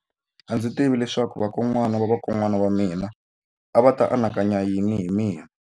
A ndzi tivi leswaku vakokwana-va-vakokwana va mina a va ta anakanya yini hi mina.